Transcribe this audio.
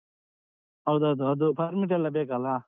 ಹೌದೌದು ಅದು permission ಎಲ್ಲ ಬೇಕಲ್ಲಾ?